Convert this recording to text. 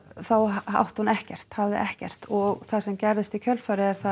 þá átti hún ekkert hafði ekkert og það sem gerist í kjölfarið er að